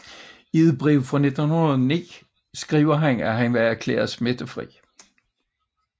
I et brev fra 1909 skriver han at han var erklæret smittefri